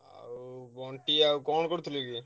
ବଣ୍ଟି ଆଉ କଣ କରୁଥିଲୁ କି?